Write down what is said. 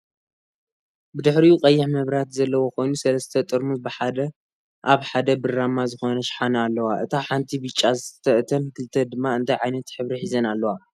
ብድሕሪኡ ቀይሕ መብራህቲ ዘለዎ ኮይኑ ሰለስተ ጠራሙዝ ብሓደ ኣብ ሓደ ብራማ ዝኮነ ሽሓነ ኣለዋ። እታ ሓንቲ ብጫ ዝስተ እተን ክልተ ድማ እንታይ ዓይነት ሕብሪ ሒዘን ኣለዋ?